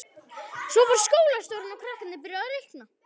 Svo fór skólastjórinn og krakkarnir byrjuðu að reikna.